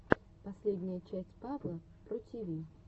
последняя часть павла про тиви